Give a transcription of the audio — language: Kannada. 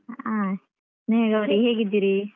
ಅಹ್ ಸ್ನೇಹಗೌರಿ ಹೇಗಿದ್ದೀರಿ?